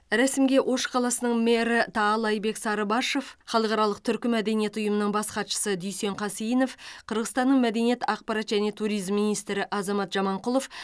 рәсімге ош қаласының мэрі таалайбек сарыбашов халықаралық түркі мәдениеті ұйымының бас хатшысы дүйсен қасейінов қырғызстанның мәдениет ақпарат және туризм министрі азамат жаманқұлов